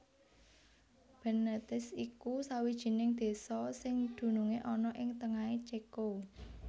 Bénéticé iku sawijining désa sing dunungé ana ing tengahé Céko